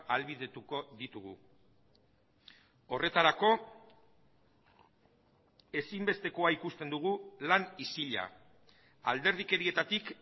ahalbidetuko ditugu horretarako ezinbestekoa ikusten dugu lan isila alderdikerietatik